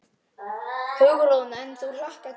Hugrún: En þú hlakkar til?